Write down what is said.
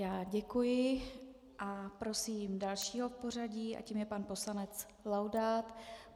Já děkuji a prosím dalšího v pořadí a tím je pan poslanec Laudát.